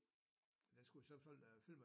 Den skulle i så fald være fyldt med